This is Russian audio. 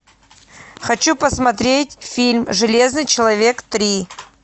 хочу посмотреть фильм железный человек три